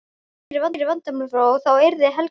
Þá yrðu fleiri vandamál frá og þá yrði Heiða glaðari.